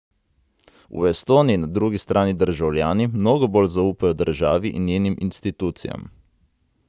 V Estoniji na drugi strani državljani mnogo bolj zaupajo državi in njenim institucijam.